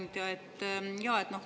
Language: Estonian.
Hea ettekandja!